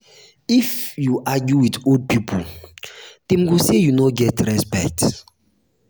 if you argue wit old pipo dem go sey you no get respect.